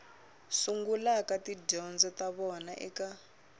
sungulaka tidyondzo ta vona eka